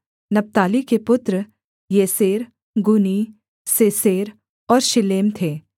नप्ताली के पुत्र Jahzeel Guni Jezer और शिल्लेम थे